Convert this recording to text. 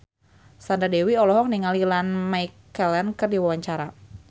Sandra Dewi olohok ningali Ian McKellen keur diwawancara